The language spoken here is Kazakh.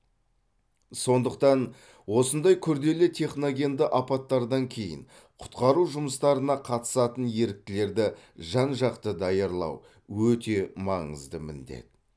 сондықтан осындай күрделі техногенді апаттардан кейін құтқару жұмыстарына қатысатын еріктілерді жан жақты даярлау өте маңызды міндет